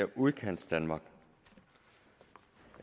udkantsdanmark